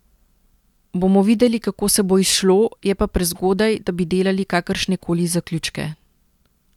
Bomo videli, kako se bo izšlo, je pa prezgodaj, da bi delali kakršnekoli zaključke.